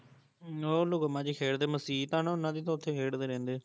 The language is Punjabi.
ਉਹ ਲੁਕਣ ਮਾਚੀ ਖੇਡਦੇ, ਮਸੀਤ ਆ ਨਾ ਉਹਨਾਂ ਦੀ ਤੇ ਓਥੇ ਖੇਡਦੇ ਰਹਿੰਦੇ